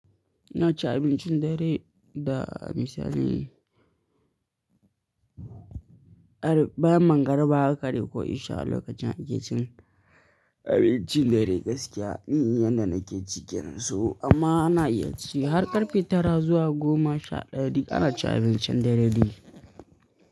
Ina cin abincin dare da misali, bayan magriba haka dai ko isha a lokacin ake cin abincin dare gaskiya ni inda nake cikin so amma ana iya ci har ƙarfe tara zuwa goma sha ɗaya duk ana cin abincin dare ne.